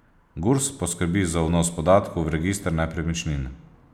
Gurs poskrbi za vnos podatkov v register nepremičnin.